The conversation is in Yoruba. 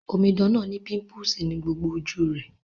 Omidan náà ni pimple ni gbogbo ojú rẹ́